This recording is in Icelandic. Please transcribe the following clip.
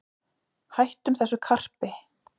Hættum þessu karpi